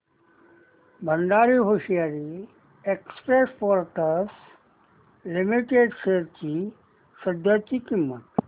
Bhandari hosiery exports limited shares ची सध्याची किंमत